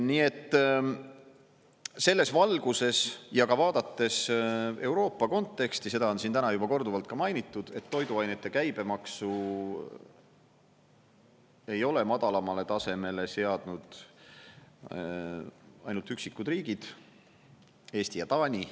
Nii et selles valguses ja ka vaadates Euroopa konteksti, seda on siin täna juba korduvalt ka mainitud, et toiduainete käibemaksu ei ole madalamale tasemele seadnud ainult üksikud riigid: Eesti ja Taani.